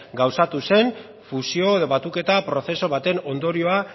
gauzatu zen fusio edo batuketa prozesu baten ondorioa